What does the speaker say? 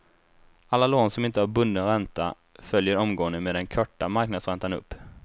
Alla lån som inte har bunden ränta följer omgående med den korta marknadsräntan upp.